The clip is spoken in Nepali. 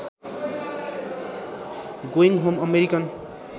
going home American